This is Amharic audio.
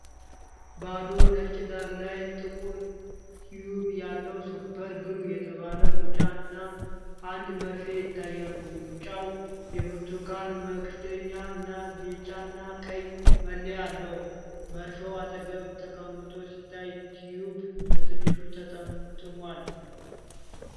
ባዶ ነጭ ዳራ ላይ ጥቁር ቲዩብ ያለው "ሱፐር ግሉ" የተባለ ሙጫ እና አንድ መርፌ ይታያሉ። ሙጫው የብርቱካን መክደኛ እና ቢጫና ቀይ መለያ አለው። መርፌው አጠገብ ተቀምጦ ሲታይ፣ ቲዩቡ በትንሹ ተጠምጥሟል።